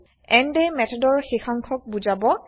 endএ মেথডৰ শেষাংশক বুজাব